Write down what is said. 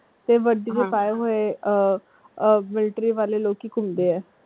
ਤੇ ਵੱਡੀ ਆਹ military ਵਾਲੇ ਲੋਕੀ ਘੁੰਮਦੇ ਆ।